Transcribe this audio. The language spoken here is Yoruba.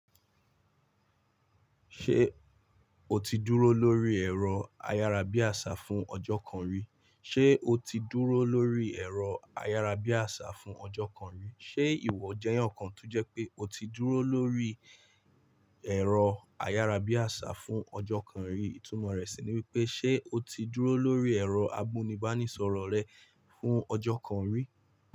Ṣé o ti dúró lórí ẹ̀rọ ayárabíàṣá fún ọjọ́ kan rí? Ṣé ìwọ jẹ́ ẹnìkan tó jẹ́ pé o ti dúró lórí ẹ̀rọ ayárabíàṣá fún ọjọ́ kan rí? Ìtumọ̀ rẹ̀ sì ni wípé ṣe o ti dúró lórí ẹ̀rọ amúnibánisọ̀rọ̀ rẹ fún ọjọ́ kan rí?